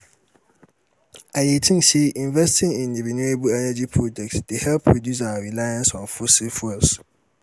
i dey think say investing in renewable energy projects dey help reduce our reliance on fossil fuels.